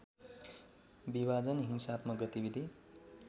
विभाजन हिंसात्मक गतिविधि